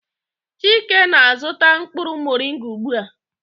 Chike na-azụta mkpụrụ moringa ugbu a.